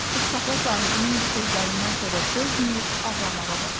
Tutsaxla sahibinin bu sözlərindən sonra dözməyib ağlamağa başladı.